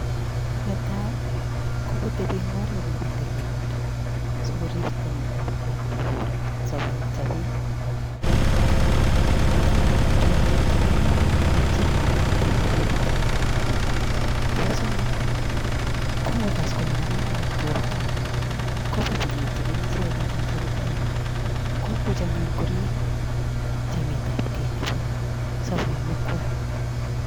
Netai, kokotebi eng oret nebo tililindo sikorib chametabkei nebo sabet. kora koam amitwagik che tililen ako che techei borta. Nebo somok kongokas kole makararan borta koba bike cheken icheket eng sipitali. Komuch anyu korib chametabkei nebo sobonwekwai.